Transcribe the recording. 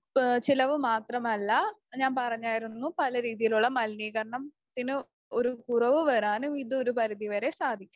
ചിലവ് മാത്രമല്ല ഞാൻ പറഞ്ഞായിരുന്നു പല രീതിയിലുള്ള മലിനീകരണത്തിന് ഒരു കുറവ് വരാനും ഇത് ഒരു പരിധി വരെ സാധിക്കും.